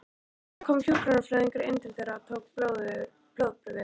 Það kom hjúkrunarfræðingur inn til þeirra og tók blóðprufur.